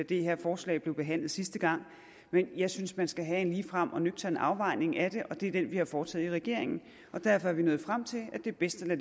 det her forslag blev behandlet sidste gang men jeg synes at man skal have en ligefrem og nøgtern afvejning af det og det er den vi har foretaget i regeringen og derfor er vi nået frem til at det er bedst at